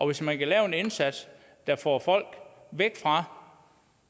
hvis man kan gøre en indsats der får folk væk fra